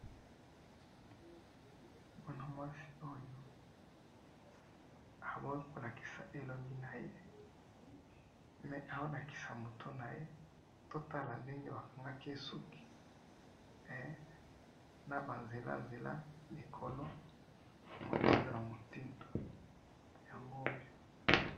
mwana mwasi oyo aboyi kolakisa elongi naye mais azo kolakisa mutu naye totala ndenge basaliye basouki naba nzela nzela likolo na motindu yango oyo